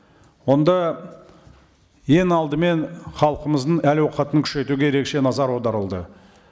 онда ең алдымен халқымыздың әл ауқатын күшейтуге ерекше назар аударылды